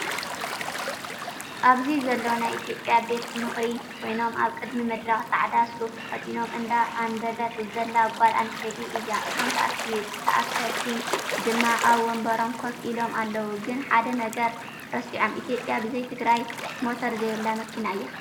ኣብዚ ዘለው ናይ ኢትዮጰያ ቤት ምክሪ ኮይኖም ኣብ ቅድሚ መድረክ ፃዕዳ ሱፍ ተከዲና እንዳ ኣንበበት ዘላ ጓል ኣነስተይቲ እያ። እቶም ተኣከብቲ ድማ ኣብ ወንበሮም ኮፍ ኢሎም ኣለው። ግን ሓደ ነገር ረሲዖም ኢትዮጰያ ብዘይትግራይ ሞቶር ዘይብላ መኪና እያ።